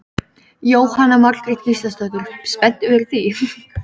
Jóhanna Margrét Gísladóttir: Spenntur fyrir því?